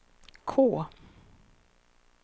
K